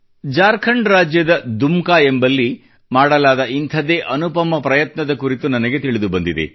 ಜಾರ್ಖಂಡ್ ರಾಜ್ಯದ ದುಮ್ಕಾ ಎಂಬಲ್ಲಿ ಮಾಡಲಾದ ಇಂಥದ್ದೇ ಅನುಪಮ ಪ್ರಯತ್ನದ ಕುರಿತು ನನಗೆ ತಿಳಿದುಬಂದಿದೆ